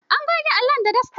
An goge allon da dasta.